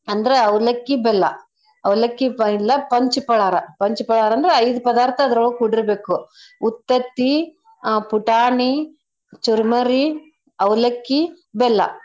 ಅಂದ್ರೆ ಅವ್ಲಕ್ಕಿ ಬೆಲ್ಲ ಅವ್ಲಕ್ಕಿ ಬೆಲ್ಲ ಪಂಚ ಪಳಾರ ಪಂಚ್ ಪಳಾರಂದ್ರ ಐದ್ ಪದಾರ್ತ ಅದ್ರೊಳಗ್ ಕೂಡಿರ್ಬೇಕು. ಉತ್ತತ್ತಿ ಆ ಪುಟಾಣಿ ಚುರ್ಮರಿ ಅವ್ಲಕ್ಕಿ ಬೆಲ್ಲ.